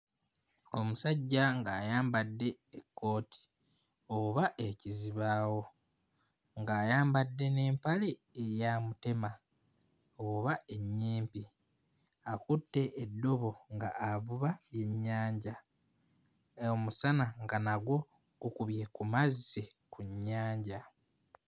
Omusajja ng'ayambadde ekkooti oba ekizibaawo. Ng'ayambadde n'empale eya mutema oba ennyimpi. Akutte eddobo nga avuba byennyanja. Omusana nga nagwo gukubye ku mazzi mu nnyanja.